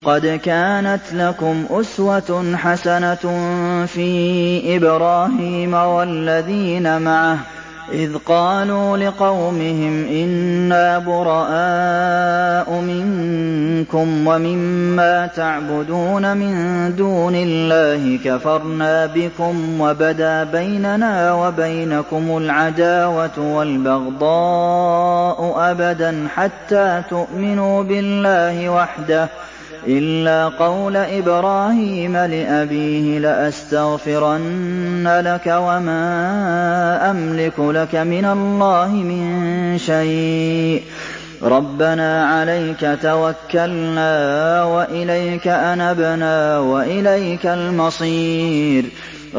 قَدْ كَانَتْ لَكُمْ أُسْوَةٌ حَسَنَةٌ فِي إِبْرَاهِيمَ وَالَّذِينَ مَعَهُ إِذْ قَالُوا لِقَوْمِهِمْ إِنَّا بُرَآءُ مِنكُمْ وَمِمَّا تَعْبُدُونَ مِن دُونِ اللَّهِ كَفَرْنَا بِكُمْ وَبَدَا بَيْنَنَا وَبَيْنَكُمُ الْعَدَاوَةُ وَالْبَغْضَاءُ أَبَدًا حَتَّىٰ تُؤْمِنُوا بِاللَّهِ وَحْدَهُ إِلَّا قَوْلَ إِبْرَاهِيمَ لِأَبِيهِ لَأَسْتَغْفِرَنَّ لَكَ وَمَا أَمْلِكُ لَكَ مِنَ اللَّهِ مِن شَيْءٍ ۖ رَّبَّنَا عَلَيْكَ تَوَكَّلْنَا وَإِلَيْكَ أَنَبْنَا وَإِلَيْكَ الْمَصِيرُ